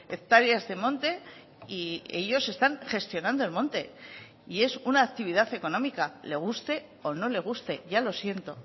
hectáreas de monte y ellos están gestionando el monte y es una actividad económica le guste o no le guste ya lo siento